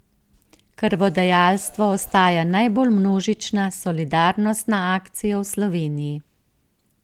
Krvodajalstvo ostaja najbolj množična solidarnostna akcija v Sloveniji.